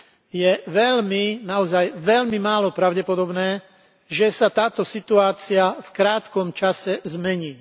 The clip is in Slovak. Je veľmi, naozaj, veľmi málo pravdepodobné, že sa táto situácia v krátkom čase zmení.